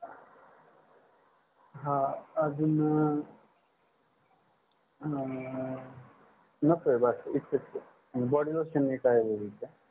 हा अजून आह नको बाकी इतकंच body lotion लिहतात लिहाजा